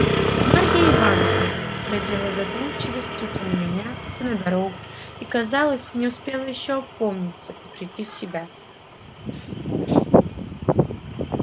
марья ивановна глядела с задумчивостию то на меня то на дорогу и казалось не успела ещё опомниться и прийти в себя